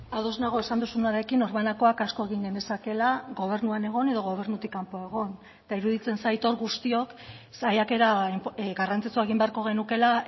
ados nago esan duzunarekin norbanakoak asko egin genezakeela gobernuan egon edo gobernutik kanpo egon eta iruditzen zait hor guztiok saiakera garrantzitsua egin beharko genukeela